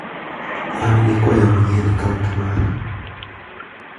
An gi kwayo manyien e kaunt mara.